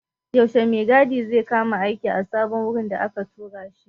Yaushe mai gadi zai kama aiki a sabon wurin da aka tura shi?